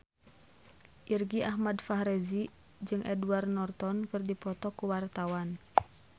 Irgi Ahmad Fahrezi jeung Edward Norton keur dipoto ku wartawan